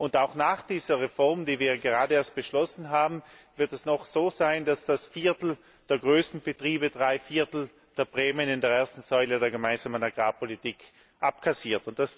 Und auch nach dieser Reform, die wir gerade erst beschlossen haben, wird es noch so sein, dass das Viertel der größten Betriebe drei Viertel der Prämien in der ersten Säule der Gemeinsamen Agrarpolitik abkassiert.